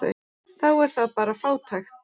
Þá er það bara frábært.